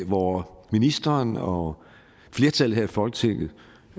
hvor ministeren og flertallet her i folketinget